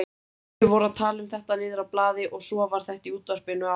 Þau voru að tala um þetta niðrá blaði og svo var þetta í útvarpinu áðan.